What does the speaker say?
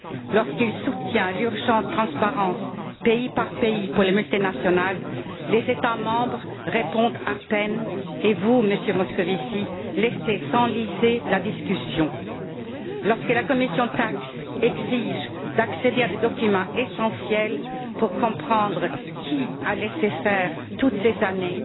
Lorsqu'il soutient l'urgente transparence, pays par pays, pour les multinationales, les États membres répondent à peine, et vous, Monsieur Moscovici, laissez s'enliser la discussion. Lorsque la commission TAXE exige d'accéder à des documents essentiels pour comprendre qui a laissé faire toutes ces années,